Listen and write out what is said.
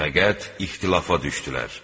Fəqət ixtilafa düşdülər.